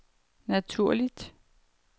naturligt